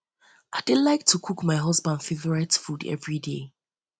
i dey like to dey cook my husband favourite food everyday